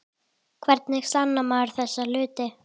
Hvernig sannar maður þessa hluti?